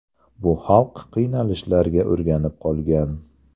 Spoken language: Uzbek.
Bu xalq qiynalishlarga o‘rganib qolgan.